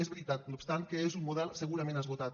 és veritat no obstant que és un model segurament esgotat